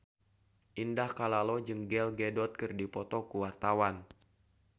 Indah Kalalo jeung Gal Gadot keur dipoto ku wartawan